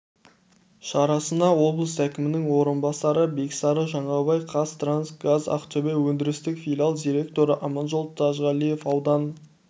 шарасынаоблыс әкімінің орынбасары бексары жаңабай қаз транс газ ақтөбе өндірістік филиал директоры аманжол тажғалиев аудан